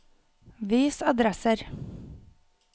vis adresser